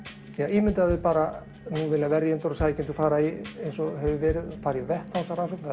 ímyndaðu þér bara nú vilja verjendur og sækjendur fara í eins og hefur verið að fara í vettvangsrannsókn það